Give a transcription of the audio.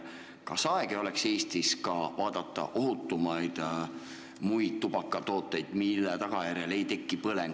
Kas ei oleks aeg Eestis rohkem müüma hakata ohutumaid muid tubakatooteid, mille tagajärjel ei teki põlenguid?